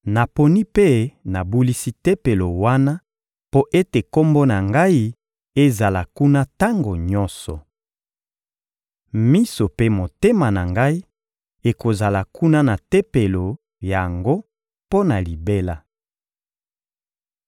Naponi mpe nabulisi Tempelo wana mpo ete Kombo na Ngai ezala kuna tango nyonso. Miso mpe motema na Ngai ekozala kuna na Tempelo yango mpo na libela.